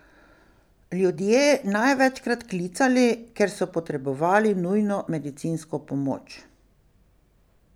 Ljudje največkrat klicali, ker so potrebovali nujno medicinsko pomoč.